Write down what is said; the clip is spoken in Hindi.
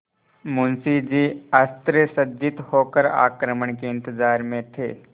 मुंशी जी अस्त्रसज्जित होकर आक्रमण के इंतजार में थे